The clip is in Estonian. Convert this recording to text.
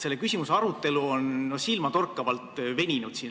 Selle küsimuse arutelu siin Riigikogus on silmatorkavalt veninud.